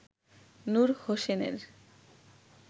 নূর হোসেনের